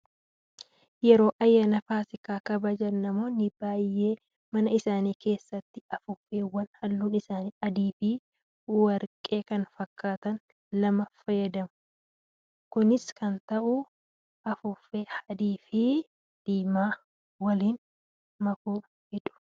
Yeroo ayyaana faasikaa kabajan namoonni baay'een mana isaanii keessatti afuffeewwan halluun isaanii adii fi warqee kan fakkaatan lama fayyadamu. Kunis kan ta'uu qabu, afuuffee adii fi diimaa waliin makuun hidhu.